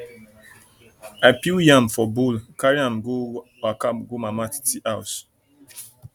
i peel yam put for bowl carry am waka go mama titi house